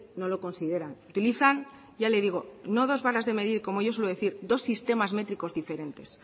no lo consideran utilizan ya le digo no dos varas de medir como yo suelo decir dos sistemas métricos diferentes